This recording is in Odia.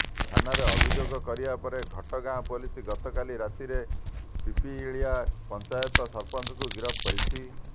ଥାନାରେ ଅଭିଯୋଗ କରିବା ପରେ ଘଟଗାଁ ପୋଲିସ ଗତକାଲି ରାତିରେ ପିପିଳିଆ ପଂଚାୟତ ସରପଂଚଙ୍କୁ ଗିରଫ କରିଛି